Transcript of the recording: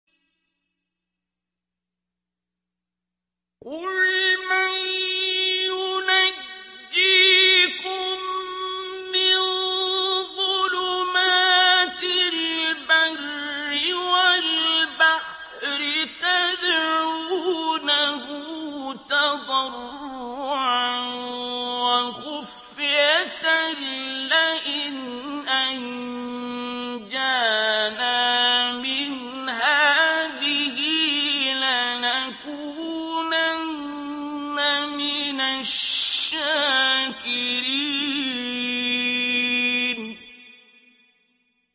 قُلْ مَن يُنَجِّيكُم مِّن ظُلُمَاتِ الْبَرِّ وَالْبَحْرِ تَدْعُونَهُ تَضَرُّعًا وَخُفْيَةً لَّئِنْ أَنجَانَا مِنْ هَٰذِهِ لَنَكُونَنَّ مِنَ الشَّاكِرِينَ